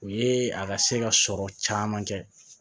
O ye a ka se ka sɔrɔ caman kɛ